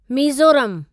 मीज़ोरमु